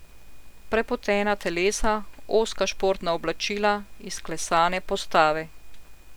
Prepotena telesa, ozka športna oblačila, izklesane postave ...